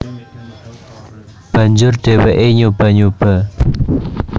Banjur dheweke nyoba nyoba